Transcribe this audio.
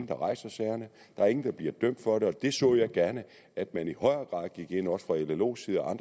der rejser sagerne og der er ingen der bliver dømt for det jeg så gerne at man i højere grad gik ind også fra llos